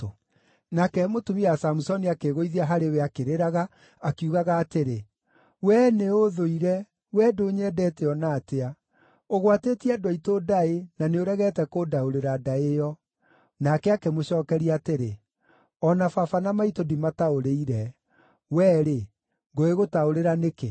Nake mũtumia wa Samusoni akĩĩgũithia harĩ we, akĩrĩraga akiugaga atĩrĩ, “Wee nĩũũthũire! Wee ndũnyendete o na atĩa. Ũgwatĩtie andũ aitũ ndaĩ, na nĩũregete kũndaũrĩra ndaĩ ĩyo.” Nake akĩmũcookeria atĩrĩ, “O na baba na maitũ ndimataũrĩire, wee-rĩ, ngũgĩgũtaũrĩra nĩkĩ?”